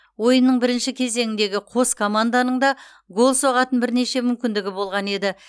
ойынның бірінші кеезңіндегі қос команданың да гол соғатын бірнеше мүмкіндігі болған еді